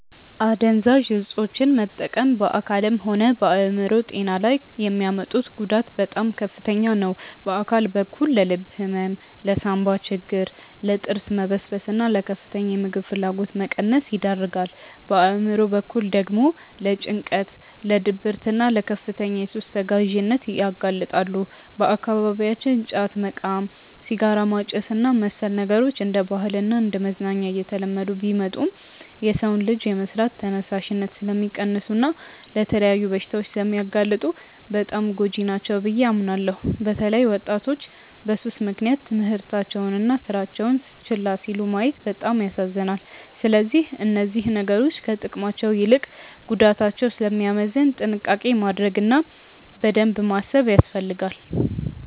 አደንዛዥ እፆችን መጠቀም በአካልም ሆነ በአእምሮ ጤና ላይ የሚያመጡት ጉዳት በጣም ከፍተኛ ነው። በአካል በኩል ለልብ ህመም፣ ለሳንባ ችግር፣ ለጥርስ መበስበስና ለከፍተኛ የምግብ ፍላጎት መቀነስ ይዳርጋል። በአእምሮ በኩል ደግሞ ለጭንቀት፣ ለድብርትና ለከፍተኛ የሱስ ተገዢነት ያጋልጣሉ። በአካባቢያችን ጫት መቃም፣ ሲጋራ ማጨስና መሰል ነገሮች እንደ ባህልና እንደ መዝናኛ እየተለመዱ ቢመጡም፣ የሰውን ልጅ የመስራት ተነሳሽነት ስለሚቀንሱና ለተለያዩ በሽታዎች ስለሚያጋልጡ በጣም ጎጂ ናቸው ብዬ አምናለሁ። በተለይ ወጣቶች በሱስ ምክንያት ትምህርታቸውንና ስራቸውን ችላ ሲሉ ማየት በጣም ያሳዝናል። ስለዚህ እነዚህ ነገሮች ከጥቅማቸው ይልቅ ጉዳታቸው ስለሚያመዝን ጥንቃቄ ማድረግ እና በደንብ ማሰብ ያስፈልጋል።